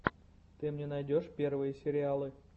ты мне найдешь первые сериалы